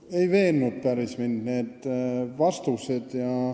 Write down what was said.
No ei veennud mind päris need vastused.